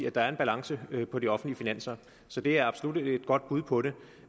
at der er balance på de offentlige finanser så det er absolut et godt bud på det